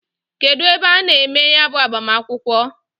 Kedu ebe a na-eme ya bu agbamakwukwo?